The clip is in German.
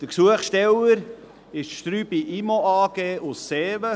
Der Gesuchsteller ist die Strüby Immo AG aus Seewen.